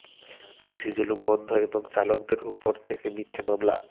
পুলিসি জুলুম বন্ধ এবং চালকদের ওপর থেকে মিথ্যে মামলা